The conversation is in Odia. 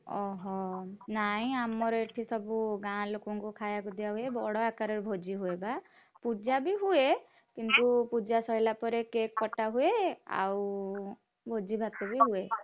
ଓହୋଃ ନାଇଁ ଆମର ଏଠି ସବୁ ଗାଁ ଲୋକଙ୍କୁ ଖାୟାକୁ ଦିଆ ହୁଏ ବଡ ଆକାରରେ ଭୋଜି ହୁଏ ବା ପୂଜା, ବି ହୁଏ, କିନ୍ତୁ ପୂଜା ସରିଲା ପରେ cake କଟା ହୁଏ ଆଉ ଭୋଜି ଭାତ ବି ହୁଏ।